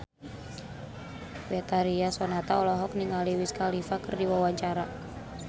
Betharia Sonata olohok ningali Wiz Khalifa keur diwawancara